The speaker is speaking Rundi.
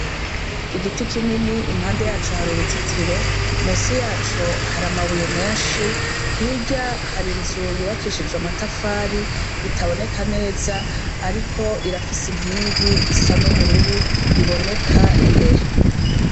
Igiti kinini impande yaco har'uruzitiro, hirya har'inzu yubakishijwe amatafari itaboneka neza, ariko irafise inkingi isa n'ubururu iboneka imbere.